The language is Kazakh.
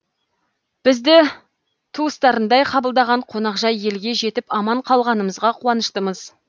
бізді туыстарындай қабылдаған қонақжай елге жетіп аман қалғанымызға қуаныштымыз